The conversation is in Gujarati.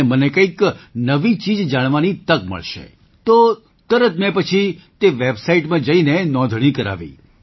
અને મને કંઈક નવી ચીજ જાણવાની તક મળશે તો તરત મેં પછી તે વેબસાઈટમાં જઈને નોંધણી કરાવી